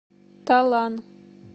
талан